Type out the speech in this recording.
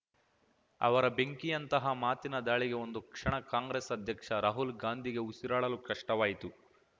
ಅವರ ಬೆಂಕಿಯಂತಹ ಮಾತಿನ ದಾಳಿಗೆ ಒಂದು ಕ್ಷಣ ಕಾಂಗ್ರೆಸ್‌ ಅಧ್ಯಕ್ಷ ರಾಹುಲ್‌ ಗಾಂಧಿಗೇ ಉಸಿರಾಡಲು ಕಷ್ಟವಾಯಿತು